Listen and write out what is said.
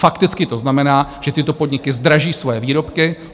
Fakticky to znamená, že tyto podniky zdraží svoje výrobky.